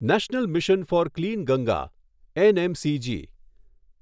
national mission for clean Ganga NMCG